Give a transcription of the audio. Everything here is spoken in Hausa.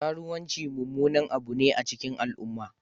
Kruwanci mummunan abu ne a cikin al'umma